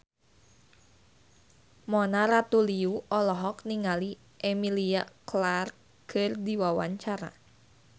Mona Ratuliu olohok ningali Emilia Clarke keur diwawancara